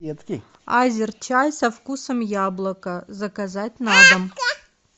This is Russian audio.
азерчай со вкусом яблока заказать на дом